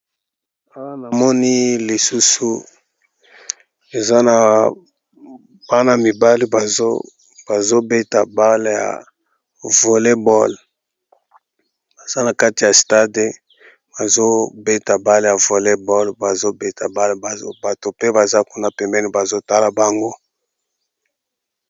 Awa na moni lisusu eza na bana mibale bazobeta bale ya volleybol baza na kati ya stade bazobeta bale ya volleybol bazobeta bale bato pe baza kuna pemene bazotala bango.